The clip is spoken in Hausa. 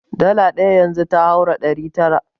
Dala ɗaya yanzu ta haura ɗari tara.